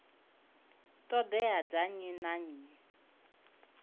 ṱhoḓea dza nnyi na nnyi